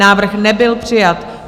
Návrh nebyl přijat.